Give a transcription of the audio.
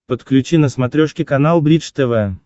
подключи на смотрешке канал бридж тв